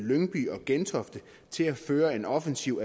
lyngby og gentofte til at føre en offensiv